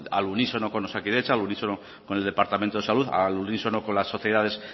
al unísono con osakidetza al unísono con el departamento de salud al unísono con las sociedades